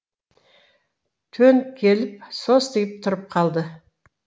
төніп келіп состиып тұрып қалды